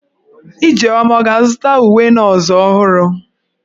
Ijeoma a ga-azụta uwe nọọsụ ọhụrụ?